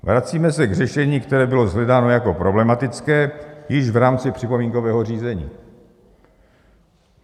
Vracíme se k řešení, které bylo shledáno jako problematické již v rámci připomínkového řízení.